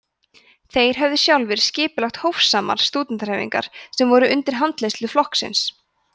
þeir höfðu sjálfir skipulagt „hófsamar“ stúdentahreyfingar sem voru undir handleiðslu flokksins